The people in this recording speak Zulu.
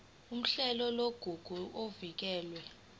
uhlelo lwamagugu avikelwe